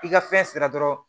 I ka fɛn sera dɔrɔn